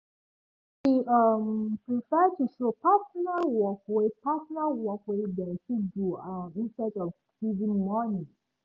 he um prefer to show personal work wey personal work wey dem fit do um instead of giving money